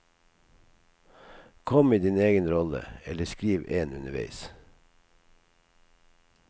Kom i din egen rolle, eller skriv en underveis.